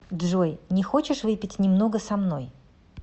джой не хочешь выпить немного со мной